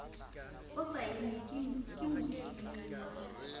o saennwe ke moamehi ya